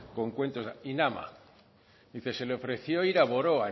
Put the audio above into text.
con cuentos se le ofreció ir a boroa